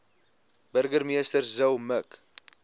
burgemeester zille mik